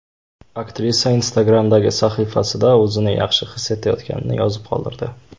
Aktrisa Instagram’dagi sahifasida o‘zini yaxshi his etayotganini yozib qoldirdi .